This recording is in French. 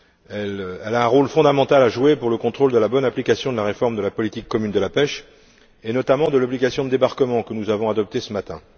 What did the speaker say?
Elle a un rôle fondamental à jouer dans le contrôle de la bonne application de la réforme de la politique commune de la pêche, et notamment de l'obligation de débarquement, que nous avons adoptée ce matin.